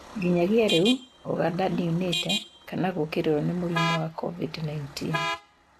Nginyagia riu, Uganda ndiunite kana gukirirwo na murimu wa COVID19.